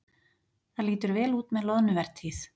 Það lítur vel út með loðnuvertíð